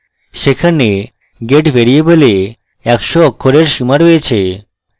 সেখানে get ভ্যারিয়েবলে একশ অক্ষরের সীমা রয়েছে